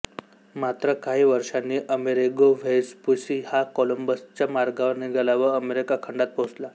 मात्र काही वर्षांनी अमेरिगो व्हेस्पुसी हा कोलंबसच्या मार्गावर निघाला व अमेरिका खंडात पोहचला